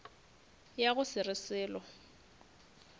ya go se re selo